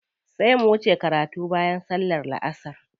Sai mu wuce karatu bayan sallar la'asar.